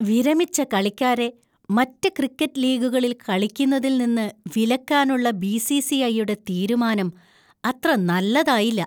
വിരമിച്ച കളിക്കാരെ മറ്റ് ക്രിക്കറ്റ് ലീഗുകളിൽ കളിക്കുന്നതിൽ നിന്ന് വിലക്കാനുള്ള ബി. സി. സി. ഐ.യുടെ തീരുമാനം അത്ര നല്ലതായില്ല.